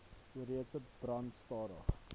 oesreste brand stadig